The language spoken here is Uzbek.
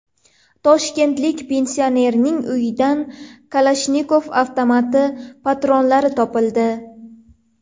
Toshkentlik pensionerning uyidan Kalashnikov avtomati patronlari topildi.